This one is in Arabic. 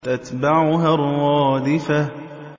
تَتْبَعُهَا الرَّادِفَةُ